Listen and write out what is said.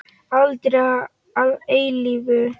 Aldrei að eilífu.